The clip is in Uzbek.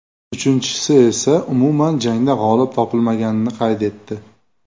Uchinchisi esa umuman jangda g‘olib topilmaganini qayd etdi.